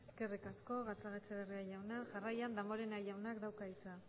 eskerrik asko gatzagaetxebarria jauna jarraian damborenea jaunak dauka hitza